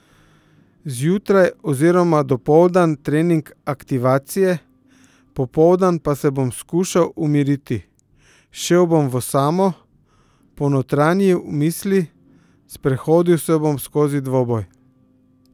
Zjutraj oziroma dopoldan trening aktivacije, popoldan pa se bom skušal umiriti, šel bom v osamo, ponotranjil misli, sprehodil se bom skozi dvoboj.